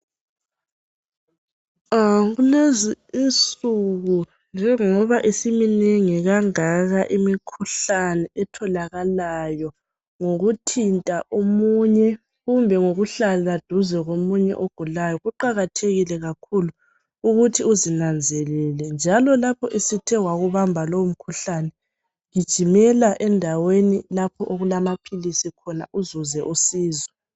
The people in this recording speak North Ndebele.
Kulezi insuku njengoba isimnengi kangaka imikhuhlane etholakalayo ngokuthinta omunye kumbe ngokuhlala duzane komunye ogulayo. Kuqakathekile kakhulu ukuthi uzinanzelele njalo lapho esethe wakubamba lowo mkhuhlane gijimela endaweni lapho okulamaphilisi khona uzuze usizo.